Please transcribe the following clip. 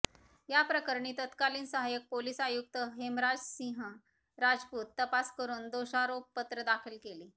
या प्रकरणी तत्कालीन सहायक पोलीस आयुक्तहेमराजसिंह राजपूत तपास करून दोषारोपपत्र दाखल केले